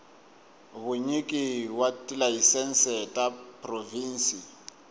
vunyiki wa tilayisense ta provhinsi